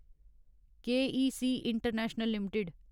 के E C International limited